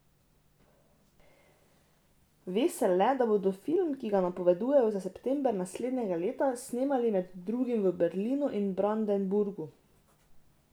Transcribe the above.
Ve se le, da bodo film, ki ga napovedujejo za september naslednjega leta, snemali med drugim v Berlinu in Brandenburgu.